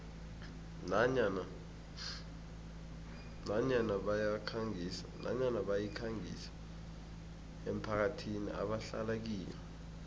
nanyana bayikhangisa emphakathini ebahlala kiyo